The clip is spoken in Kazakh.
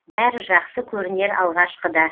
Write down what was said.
бәрі жақсы көрінер алғашқыда